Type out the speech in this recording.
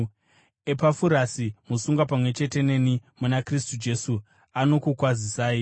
Epafurasi, musungwa pamwe chete neni muna Kristu Jesu, anokukwazisai,